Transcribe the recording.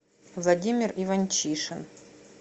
владимир иванчишин